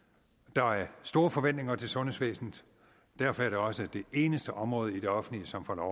der er store forventninger til sundhedsvæsenet derfor er det også det eneste område i det offentlige som får lov